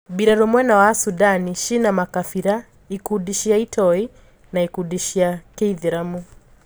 Mbirarũ mwena wa Sudani ciena makabira; ikundi cia itoi na ikundi cia kiithiramu.